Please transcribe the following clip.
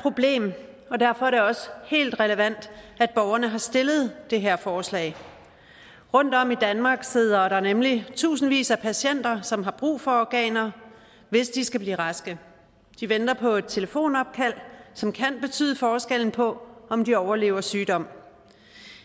problem og derfor er det også helt relevant at borgerne har stillet det her forslag rundtom i danmark sidder der nemlig tusindvis af patienter som har brug for organer hvis de skal blive raske de venter på et telefonopkald som kan betyde forskellen på om de overlever sygdom